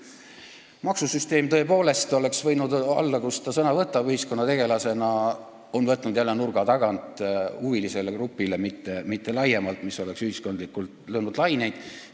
Maksusüsteem oleks tõepoolest võinud olla teema, mille puhul ta ühiskonnategelasena sõna võtab, aga ta on sellest jälle rääkinud nurga taga ühele huvigrupile, mitte laiemalt, mis oleks ühiskondlikult laineid löönud.